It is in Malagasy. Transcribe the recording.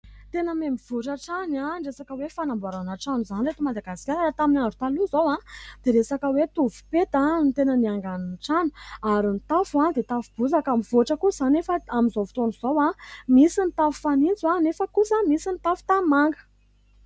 Tena mihamivoatra trano ny resaka hoe fanamboarana trano izany eto Madagasikara. Tamin'ny andro taloha izao dia resaka hoe tovopeta no tena niangan'ny trano ary ny tafo dia tafo bozaka. Mivoatra kosa izany efa amin'izao fotoan'izao, misy ny tafo fanitso, nefa kosa misy ny tafo tanimanga.